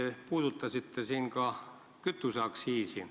Te puudutasite ka kütuseaktsiisi.